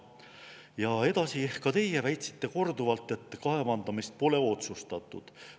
Ja edasi: ka teie väitsite korduvalt, et kaevandamist pole otsustatud.